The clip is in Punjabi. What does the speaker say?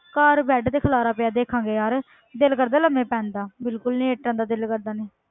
ਘਰ bed ਤੇ ਖਿਲਾਰਾ ਪਿਆ ਦੇਖਾਂਗੇ ਯਾਰ ਦਿਲ ਕਰਦਾ ਲੰਬੇ ਪੈਣ ਦਾ ਬਿਲਕੁਲ ਨੀ ਇਸ ਤਰ੍ਹਾਂ ਤਾਂ ਦਿਲ ਕਰਦਾ ਨੀ,